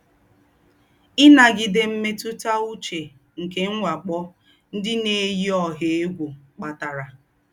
Ínágídé Mmètútà Úché nké M̀wákpọ́ Ndí́ Nà-éyí Ọ̀hà Égwú Kpátárà